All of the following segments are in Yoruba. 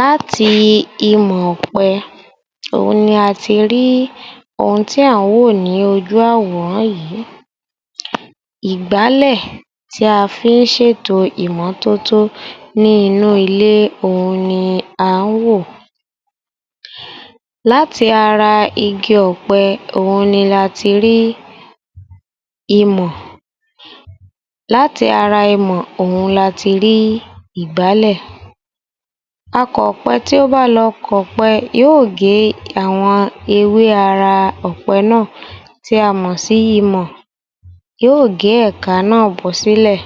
Láti imọ̀-ọ̀pẹ òhun ni a ti rí ohun tí à ń wò ní ojú àwòrán yìí. Ìgbálẹ̀ tí a fí ń ṣètò ìmọ́tótó ní inú ilé òhun ni à ń wò. Láti ara igi ọ̀pẹ, òhun ni láti rí imọ̀, láti ara imọ̀ òhun láti rí Ìgbálẹ̀. Àkọpẹ tí ó bá lọ kọ̀pẹ yóò gé àwọn ewé ara ọ̀pẹ náà tí a mọ̀ sí imọ̀. Yóò gé ẹ̀ka náà bọ́sílẹ̀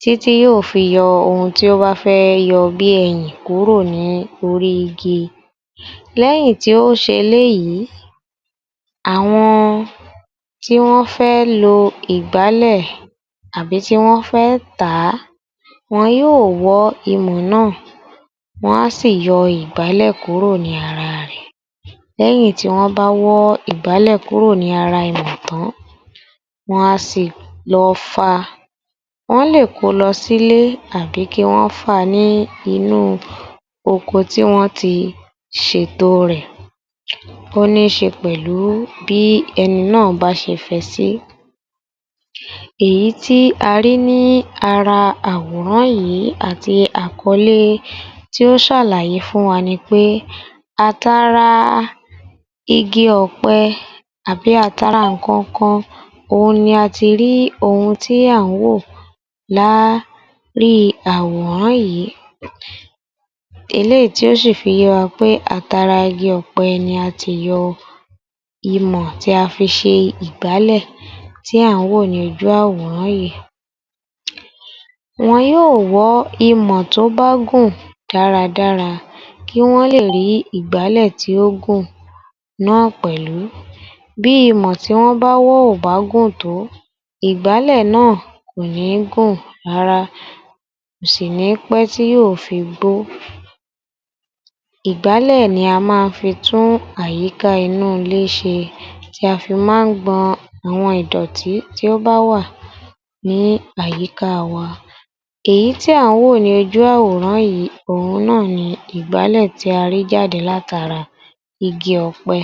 títí yóò fi yọ ohun tí ó bá fẹ́ yọ bí i ẹyìn kúrò ní orí igi. Lẹ́yìn tí ó ṣe eléyìí, àwọn tí wọ́n fẹ́ lo ìgbálẹ̀ àbí tí wọ́n fẹ́ tàá, wọn yóò wọ́ imọ̀ náà, wọ́n á sì yọ ìgbálẹ̀ kúrò ní ara rẹ̀. Lẹ́yìn tí wọ́n bá wọ́ ìgbálẹ̀ kúrò ní ara imọ̀ tán, wọn a sì lọ fa, wọ́n lè ko lọ sílé àbí kí wọ́n fa ní inú oko tí wọ́n ti ṣètò rẹ̀ tó níṣe pẹ̀lú bí ẹni náà bá ṣe fẹ sí. Èyí tí a rí ní ara àwòrán yìí àti àkọ́lé tí ó ṣàlàyé fún wa ni pé àtara igi ọ̀pẹ àbí àtara nǹkan kan, òhun ni a ti rí ohun tí à ń wò lá rí àwòrán yìí. Eléyìí tí ó ṣì fi yé wa pé àtara igi ọ̀pẹ ni a ti yọ imọ̀ tí a fi ṣe ìgbálẹ̀ tí à ń wò ní ojú àwòrán yìí. Wọ́n yóò wọ́ imò tó bá gùn dáradára kí wọ́n lè rí Ìgbálẹ̀ tí ó gùn náà pẹ̀lú. Bí imọ̀ tí wọ́n bá wọ́ ò bá gùn tó, ìgbálẹ̀ náà kò ní gùn rárá, kò sì ní pẹ́ tí yóò fi gbó. Ìgbálẹ̀ ni a máa ń fi tún àyíká inú ilé ṣe, tí a fi máa ń gbọn àwọn ìdọ̀tí tí ó bá wà ní àyíká wa. Èyí tí à ń wò ní ojú àwòrán yìí, ohun náà ni ìgbálẹ̀ tí a ré jáde látàra igi ọ̀pẹ